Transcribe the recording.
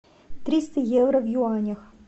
триста евро в юанях